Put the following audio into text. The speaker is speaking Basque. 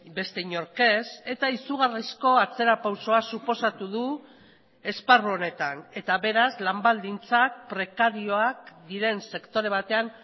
beste inork ez eta izugarrizko atzerapausoa suposatu du esparru honetan eta beraz lan baldintzak prekarioak diren sektore batean